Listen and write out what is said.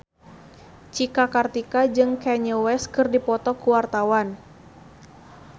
Cika Kartika jeung Kanye West keur dipoto ku wartawan